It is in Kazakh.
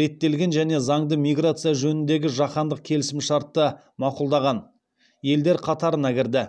реттелген және заңды миграция жөніндегі жаһандық келісімшартты мақұлдаған елдер қатарына кірді